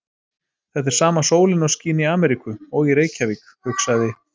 Þetta er sama sólin og skín í Ameríku. og í Reykjavík, hugsaði